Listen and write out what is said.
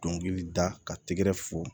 Dɔnkili da ka tɛgɛrɛ fo